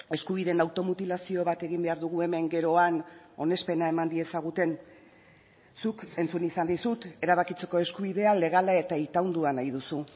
eskubideen automutilazio bat egin behar dugu hemen gero han onespena eman diezaguten zuk entzun izan dizut erabakitzeko eskubidea legala eta itaundua nahi duzu